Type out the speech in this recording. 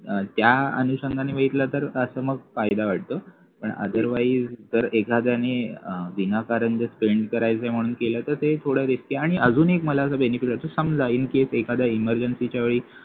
अं त्या अनुषंगाने बघितलं तर असा मग फायदा वाटतो पण otherwise जर एखाद्याने अं विनाकारण जर करायचं म्हणून केलं तर ते थोडं risky आणि अजून एक मला असं benefit वाटत समजा incase एखाद्या emergency च्या वेळी